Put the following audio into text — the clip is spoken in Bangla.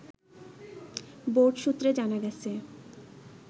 বোর্ড সুত্রে জানা গেছে